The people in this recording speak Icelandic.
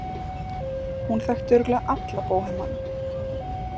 Hún þekkti örugglega alla bóhemana.